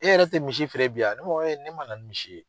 E yɛrɛ tɛ misi feere bi wa ne b'a fɔ ne man na ni misi ye.